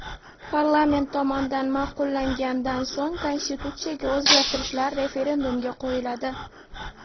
Parlament tomonidan ma’qullangandan so‘ng konstitutsiyaga o‘zgartirishlar referendumga qo‘yiladi.